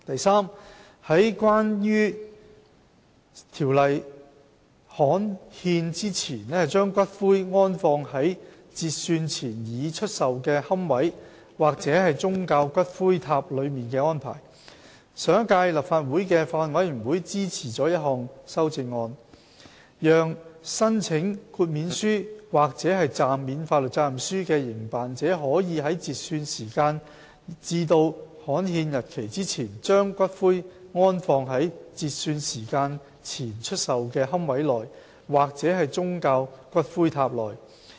c 有關在條例刊憲前把骨灰安放在截算前已出售的龕位或宗教骨灰塔內的安排上一屆立法會的法案委員會支持了一項修正案，讓申請豁免書或暫免法律責任書的營辦者可以在截算時間至刊憲日期之前，把骨灰安放在截算時間前出售的龕位內或宗教骨灰塔內。